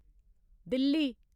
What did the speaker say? Delhi